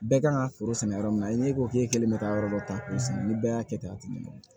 Bɛɛ kan ka foro sɛnɛ yɔrɔ min na i ko k'e kelen bɛ ka yɔrɔ dɔ ta k'o sɛnɛ ni bɛɛ y'a kɛ tan a tɛ ɲɛ